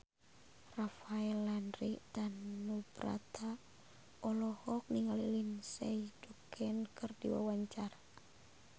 Rafael Landry Tanubrata olohok ningali Lindsay Ducan keur diwawancara